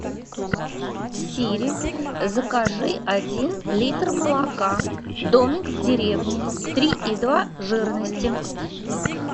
сири закажи один литр молока домик в деревне три и два жирности